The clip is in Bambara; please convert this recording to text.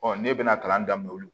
ne bɛ na kalan daminɛ olu